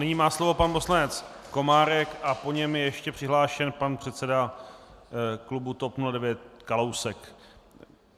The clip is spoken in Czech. Nyní má slovo pan poslanec Komárek a po něm je ještě přihlášen pan předseda klubu TOP 09 Kalousek.